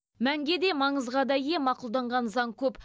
мәнге де маңызға да ие мақұлданған заң көп